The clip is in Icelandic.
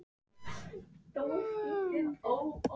Afgreiðslumaðurinn tekur á móti okkur með flugafgreiðslu-látbragði.